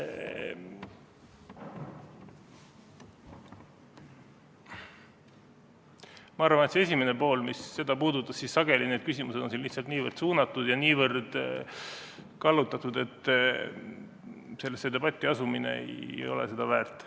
Ma arvan, et mis puudutab seda esimest poolt, siis sageli on küsimused lihtsalt niivõrd suunatud ja kallutatud, et debatti astumine ei ole seda väärt.